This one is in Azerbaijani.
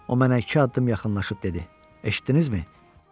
O mənə iki addım yaxınlaşıb dedi: Eşitdinizmi?